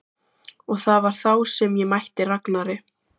Og það var þá sem ég mætti Ragnari.